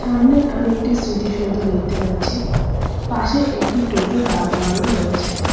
সামনে আমি একটি স্মৃতি সৌধ দেখতে পাচ্ছি পাশে একটি টোটো দাঁড় করানোও রয়েছে।